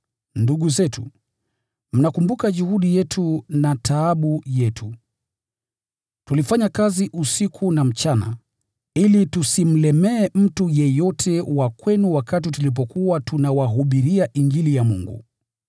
Ndugu zetu, mnakumbuka juhudi yetu na taabu yetu. Tulifanya kazi usiku na mchana, ili tusimlemee mtu yeyote wa kwenu wakati tulipokuwa tunawahubiria Injili ya Mungu.